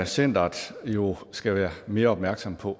centeret skal være mere opmærksom på